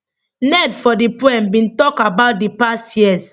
ned for di poem bin tok about di past years